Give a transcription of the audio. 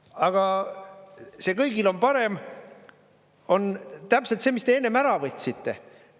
" Aga see kõigil on parem on täpselt see, mis te enne ära võtsite.